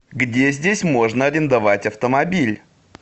где здесь можно арендовать автомобиль